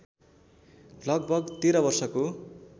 लगभग १३ वर्षको